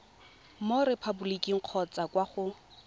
mo repaboliking kgotsa kwa go